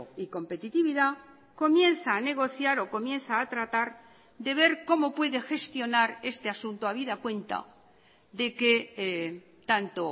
y competitividad comienza a negociar o comienza a tratar de ver cómo puede gestionar este asunto habida cuenta de que tanto